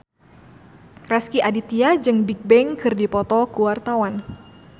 Rezky Aditya jeung Bigbang keur dipoto ku wartawan